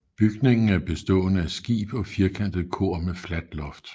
Bygningen er bestående af skib og firkantet kor med fladt loft